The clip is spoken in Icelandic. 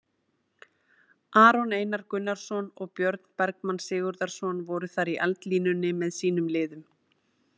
Aron Einar Gunnarsson og Björn Bergmann Sigurðarson voru þar í eldlínunni með sínum liðum.